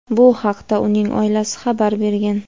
Bu haqda uning oilasi xabar bergan.